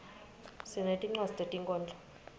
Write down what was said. sinetinwadzi tetinkhondlo